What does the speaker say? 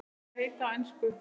Þær heita á ensku